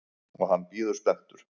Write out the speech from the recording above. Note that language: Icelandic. Og hann bíður spenntur.